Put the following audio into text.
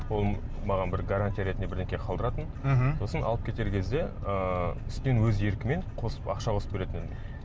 ол маған бір гарантия ретінде бірдеңе қалдыратын мхм сосын алып кетер кезде ыыы үстінен өз еркімен қосып ақша қосып беретін